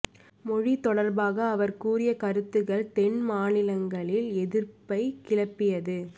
மொழி தொடர்பாக அவர் கூறிய கருத்துக்கள் தென் மாநிலங்களில் எதிர்ப்பைக் கிளப்பியது